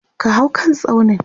ka hau kan tsaunin!